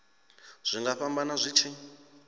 zwi nga fhambana zwi tshi